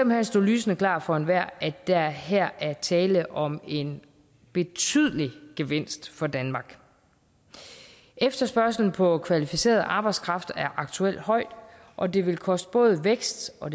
hen stå lysende klart for enhver at der her er tale om en betydelig gevinst for danmark efterspørgslen på kvalificeret arbejdskraft er aktuelt høj og det vil koste både vækst og